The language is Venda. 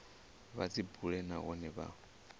vha dzi bule nahone vha